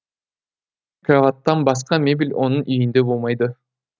кроваттан басқа мебель оның үйінде болмайды